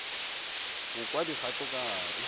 go kwa dikgato ka gare